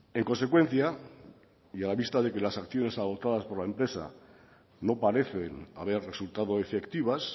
en consecuencia y a vista de que las sanciones adoptadas por la empresa no parecen haber resultado efectivas